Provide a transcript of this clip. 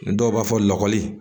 Dɔw b'a fɔ lɔgɔli